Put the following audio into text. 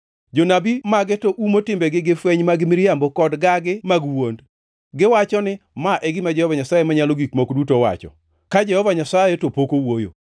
Jonabi mage to umo timbegi gi fweny mag miriambo kod gagi mag wuond. Giwacho ni, ‘Ma e gima Jehova Nyasaye Manyalo Gik Moko Duto wacho,’ ka Jehova Nyasaye to pok owuoyo.